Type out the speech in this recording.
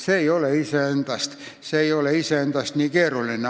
See ei ole iseendast nii keeruline.